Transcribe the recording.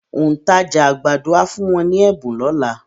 Òǹtajà àgbàdo á fún wọn ní ẹ̀bùn lọ́la.